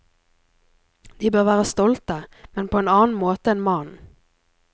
De bør være stolte, men på en annen måte enn mannen.